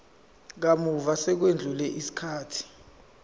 kamuva sekwedlule isikhathi